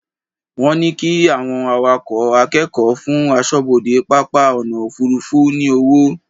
Wọ́n ní kí àwọn akẹ́kọ̀ọ́ fún aṣọ́bodè pápá ọ̀nà òfuurufú ní owó.